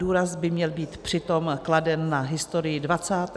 Důraz by měl být přitom kladen na historii 20. a 21. století.